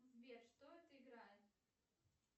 сбер что это играет